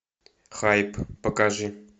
хайп покажи